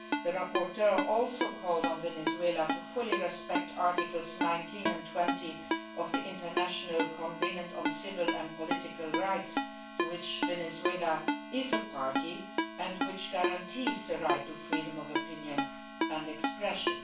The rapporteur also called on Venezuela to fully respect Articles 19 and 20 of the International Covenant on Civil and Political Rights, to which Venezuela is a party and which guarantees the right to freedom of opinion and expression.